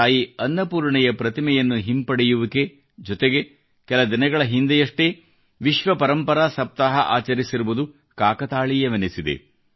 ತಾಯಿ ಅನ್ನಪೂರ್ಣೆಯ ಪ್ರತಿಮೆಯನ್ನು ಹಿಂಪಡೆಯುವಿಕೆ ಜೊತೆಗೆ ಕೆಲ ದಿನಗಳ ಹಿಂದೆಯಷ್ಟೇ ವಿಶ್ವ ಪರಂಪರಾ ಸಪ್ತಾಹ ಆಚರಿಸಿರುವುದು ಕಾಕತಾಳೀಯವೆನಿಸಿದೆ